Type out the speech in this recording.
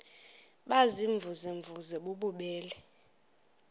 baziimvuze mvuze bububele